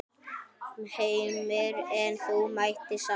Heimir: En þú mættir samt?